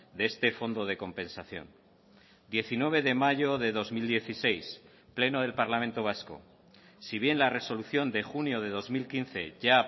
de este fondo de compensación diecinueve de mayo de dos mil dieciséis pleno del parlamento vasco si bien la resolución de junio de dos mil quince ya